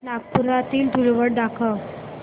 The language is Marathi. नागपुरातील धूलवड दाखव